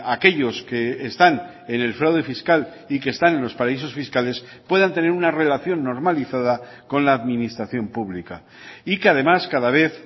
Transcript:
aquellos que están en el fraude fiscal y que están en los paraísos fiscales puedan tener una relación normalizada con la administración pública y que además cada vez